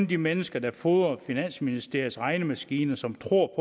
de mennesker der fodrer finansministeriets regnemaskine som tror